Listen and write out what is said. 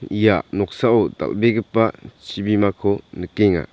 ia noksao dal·begipa chibimako nikenga.